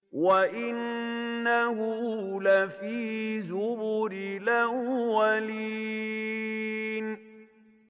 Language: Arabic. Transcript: وَإِنَّهُ لَفِي زُبُرِ الْأَوَّلِينَ